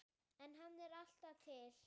En hann er alltaf til.